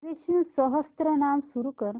विष्णु सहस्त्रनाम सुरू कर